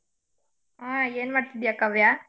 ಆ ಏನ್ ಮಾಡ್ತಿದ್ದೀಯ ಕಾವ್ಯ?